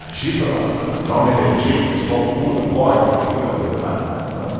Agita bastante, dá uma energia, o pessoal pula, corre, isso, aquilo, agita, mas não é samba.